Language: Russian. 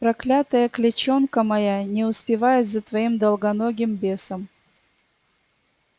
проклятая клячонка моя не успевает за твоим долгоногим бесом